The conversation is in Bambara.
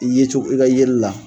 I ye cogo i ka yeleli la